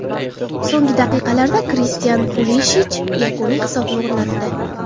So‘nggi daqiqalarda Kristian Pulishich yakuniy hisobni o‘rnatdi.